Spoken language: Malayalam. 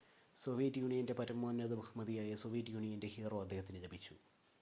"സോവിയറ്റ് യൂണിയന്റെ പരമോന്നത ബഹുമതിയായ "സോവിയറ്റ് യൂണിയന്റെ ഹീറോ" അദ്ദേഹത്തിന് ലഭിച്ചു.